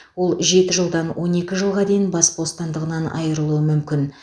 ол жеті жылдан он екі жылға дейін бас бостандығынан айырылуы мүмкін